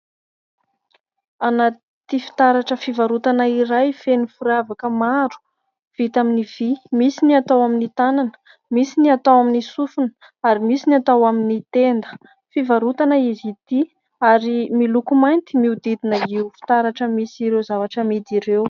Anaty fitaratra fivarotana iray feno firavaka maro vita amin'ny vý. Misy ny atao amin'ny tànana, misy ny atao amin'ny sofina, ary misy ny atao amin'ny tenda. Fivarotana izy ity ary miloko mainty miodidina io fitaratra misy ireo zavatra amidy ireo.